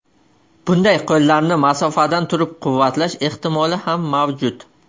Bunday qo‘llarni masofadan turib quvvatlash ehtimoli ham mavjud.